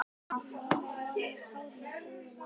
Mamma var með tárin í augunum.